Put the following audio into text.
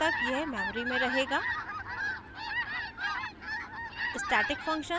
program के अंत तक यह memory में रहेगा